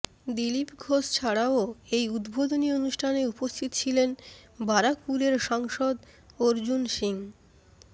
দিলীপ ঘোষ ছাড়াও এই উদ্বোধনী অনুষ্ঠানে উপস্থিত ছিলেন বারাকপুরের সাংসদ অর্জুন সিং